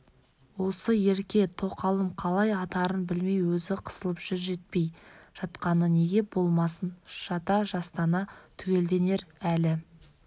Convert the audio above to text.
осы ерке тоқалым қалай атарын білмей өзі қысылып жүр жетпей жатқаны неге болмасын жата-жастана түгелденер әлі